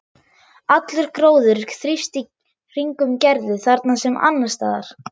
Allur gróður þrífst í kringum Gerði þarna sem annars staðar.